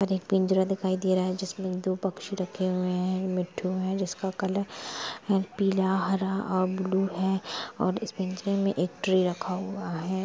एक पिंजरा दिखाई दे रहा है जिसमें दो पक्षी रखे हुए है मिट्ठू है जिसका कलर है पीलाहरा और ब्लू है और इस पिंजरे में एक ट्रे रखा हुआ है।